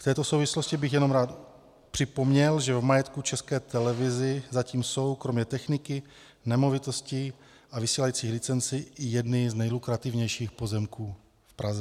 V této souvislosti bych jenom rád připomněl, že v majetku České televize zatím jsou kromě techniky, nemovitostí a vysílacích licencí i jedny z nejlukrativnějších pozemků v Praze.